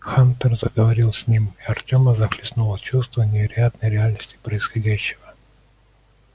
хантер заговорил с ним и артема захлестнуло чувство невероятной реальности происходящего